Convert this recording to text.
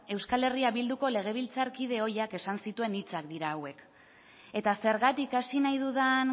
euskal herria bilduko legebiltzarkide ohiak esandako hitzak dira hauek eta zergatik hasi nahi dudan